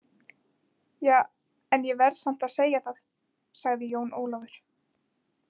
Ja, en ég verð samt að segja það, sagði Jón Ólafur.